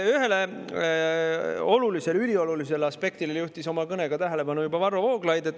Ühele üliolulisele aspektile juhtis oma kõnes tähelepanu juba Varro Vooglaid.